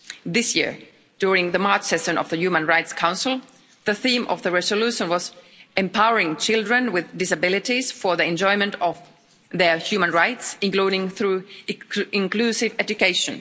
This year, during the March session of the Human Rights Council, the theme of the resolution was empowering children with disabilities for the enjoyment of their human rights, including through inclusive education.